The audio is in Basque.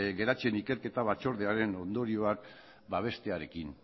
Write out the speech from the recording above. geratzen ikerketa batzordearen ondorioak babestearekin